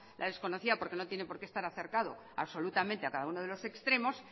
la desconocía porque no tiene por qué estar acercado absolutamente a cada uno de los extremos